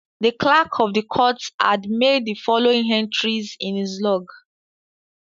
The clerk of the court had made the following entries in his log.